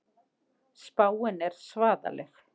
Spáin er svaðaleg.